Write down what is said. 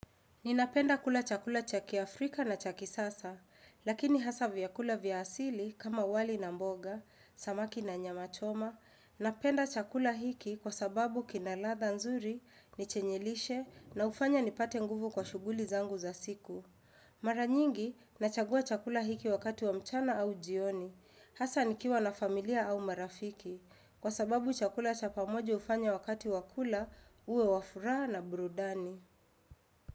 Ninapenda kula chakula chaki Afrika na chaki sasa, lakini hasa vyakula vya asili kama wali na mboga, samaki na nyama choma, napenda chakula hiki kwa sababu kinaladha nzuri, ni chenye lishe na hufanya nipate nguvu kwa shuguli zangu za siku. Maranyingi, nachagua chakula hiki wakati wa mchana au jioni, hasa nikiwa na familia au marafiki, kwa sababu chakula cha pamoja ufanya wakati wakula uwe wafuraha na burudani.